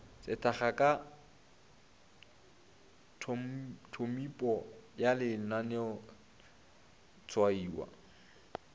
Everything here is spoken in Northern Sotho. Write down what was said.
sethaka ka tphomipo ya lenaneotshwaiwa